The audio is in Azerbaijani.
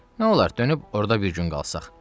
Nə olar, dönüb orda bir gün qalsaq?